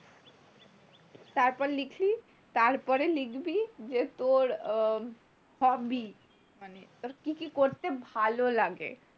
তারপর লিখলি, তারপরে লিখবি যে তোর hobby মানে তোর কি কি করতে ভালো লাগে।